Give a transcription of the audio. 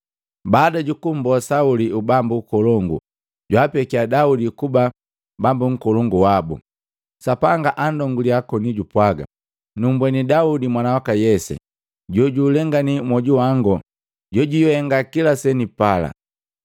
Baada jukummboa Sauli ubambu ukolongu, jwaapekia Daudi kuba bambu nkolongu wabu. Sapanga anndongalia koni jupwaga, ‘Nummbweni Daudi mwana waka Yese, jojuulengani mwoju wangu jojwihenga kila senipala.’